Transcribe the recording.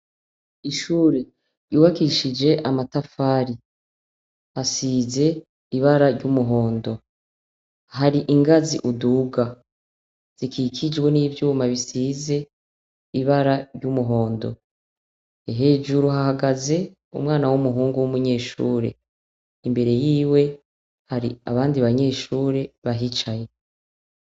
Ishure ryubakishij' amatafari, asiz' ibara ry' umuhondo, har' ingaz' uduga zikikijwe n' ivyuma bisiz' ibara ry' umuhondo, hejuru hahagaz' umwana w' umuhungu w' umunyeshure, imbere yiwe har' abandi banyeshure bahicaye.